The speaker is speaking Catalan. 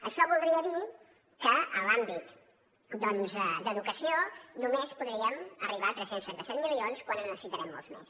això voldria dir que en l’àmbit doncs d’educació només podríem arribar a tres cents i trenta set milions quan en necessitarem molts més